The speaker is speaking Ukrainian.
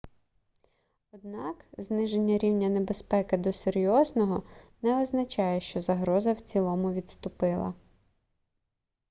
однак зниження рівня небезпеки до серйозного не означає що загроза в цілому відступила